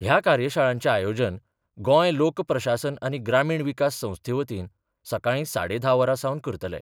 ह्या कार्यशाळांचे आयोजन गोंय लोक प्रशासन आनी ग्रामीण विकास संस्थेवतीन सकाळी साडे धा वरांसावन करतले.